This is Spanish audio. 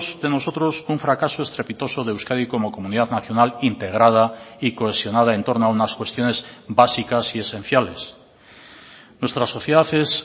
de nosotros un fracaso estrepitoso de euskadi como comunidad nacional integrada y cohesionada en torno a unas cuestiones básicas y esenciales nuestra sociedad es